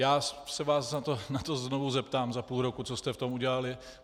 Já se vás na to znovu zeptám za půl roku, co jste v tom udělali.